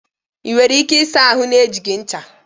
Ị nwere ike ịsa ahụ na-ejighị ncha?